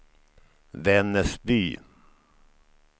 Vännäsby